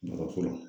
Nafa fɔlɔ